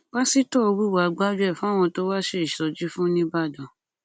pásítọ hùwàá gbájúẹ fáwọn tó wá ṣe ìsọjí fún ńìbàdàn